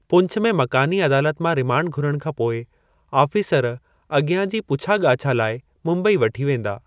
पुंछ में मकानी अदालत मां रिमांड घुरण खां पोइ, आफ़ीसर अॻियां जी पुछा ॻाछा लाइ मुंबई वठी वेंदा।